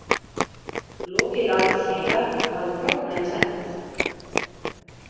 Lokið lá til hliðar og hafði brotnað í tvennt.